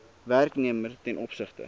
werknemer ten opsigte